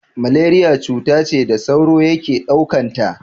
Malariya cuta ce da sauro yake ɗaukanta.